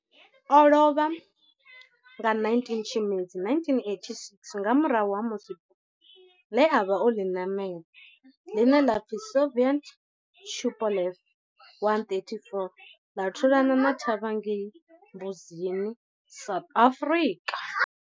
O lovha nga 19 Tshimedzi 1986 nga murahu ha musi bufho le a vha o li namela, line la pfi Soviet Tupolev 134 la thulana thavha ngei Mbuzini, South Africa.